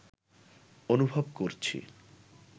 অনুভব করছি